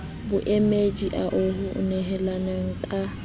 boemedi ao ho nehelanweng ka